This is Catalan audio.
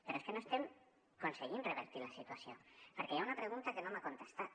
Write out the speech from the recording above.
però és que no estem aconseguint revertir la situació perquè hi ha una pregunta que no m’ha contestat